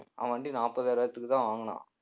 அவன் வண்டி நாற்பதாயிரத்துக்குதான் வாங்குனான்